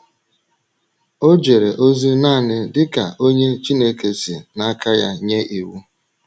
O jere ozi nanị dị ka onye Chineke si n’aka ya nye iwu.